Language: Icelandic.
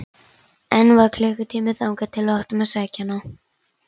Enn var klukkutími þangað til við áttum að sækja hana.